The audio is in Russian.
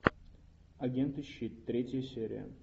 агенты щит третья серия